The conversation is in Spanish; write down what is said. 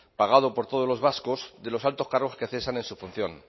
pagado por todos los vascos de los altos cargos que cesan en su función